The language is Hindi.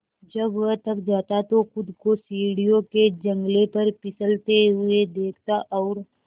जब वह थक जाता तो खुद को सीढ़ियों के जंगले पर फिसलते हुए देखता और